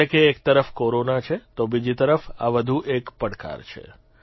એટલે કે એક તરફ કોરોના છે તો બીજી તરફ આ વધુ એક પડકાર છે